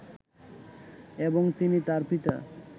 এবং তিনি তার পিতা